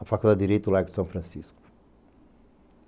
a Faculdade de Direito Largo de São Francisco.